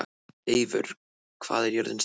Eivör, hvað er jörðin stór?